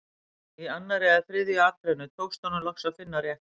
Í annarri eða þriðju atrennu tókst honum loks að finna rétt hús.